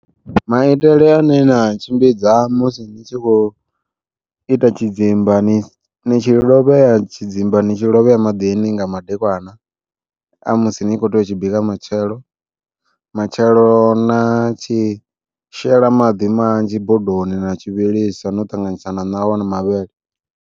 Maitele ane na tshimbidza musi ni tshi khou ita tshidzimba ndi tshi lovhea tshidzimba ni tshi lovhea maḓini nga madekwana, a musi ni kho tea u tshi bika matshelo. Matshelo na tshi shela maḓi manzhi bodoni na tshi vhilisa no ṱanganyisa na ṋawa na mavhele.